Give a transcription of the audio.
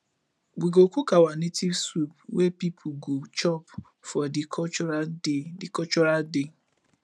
we go cook our native soup wey pipu go chop for di cultural day di cultural day